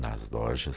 Nas lojas